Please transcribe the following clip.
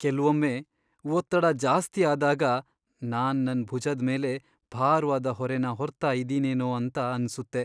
ಕೆಲ್ವೊಮ್ಮೆ, ಒತ್ತಡ ಜಾಸ್ತಿ ಆದಾಗ, ನಾನ್ ನನ್ ಭುಜದ್ ಮೇಲೆ ಭಾರ್ವಾದ ಹೊರೆನ ಹೊರ್ತಾ ಇದ್ದೀನೇನೋ ಅಂತ ಅನ್ಸುತ್ತೆ.